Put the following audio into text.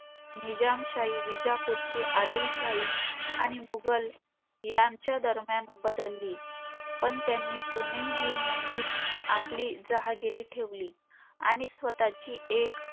निजामशाही विजापूरची, आदिलशाही आणि मुघल यांच्या दरम्यान बदलली. पण त्यांनी पुणे हे नेहमीच आपली जहागिरी ठेवली.